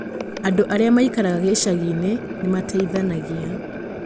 Andũ arĩa maikaraga icagi-inĩ nĩ mateithanagia.